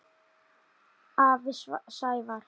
Afi Sævar.